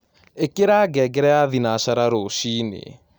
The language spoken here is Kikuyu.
ĩkĩra ngengere ya thĩnacara rũcĩĩnĩ